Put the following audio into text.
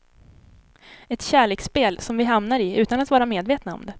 Ett kärleksspel som vi hamnar i utan att vara medvetna om det.